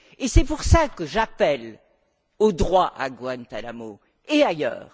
Et c'est pour cela que j'appelle au droit à Guantánamo, et ailleurs.